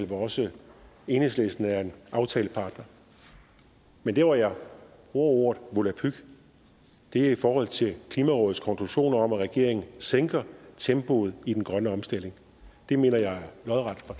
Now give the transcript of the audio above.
hvor også enhedslisten er aftalepartner men der hvor jeg bruger ordet volapyk er i forhold til klimarådets konklusioner om at regeringen sænker tempoet i den grønne omstilling det mener jeg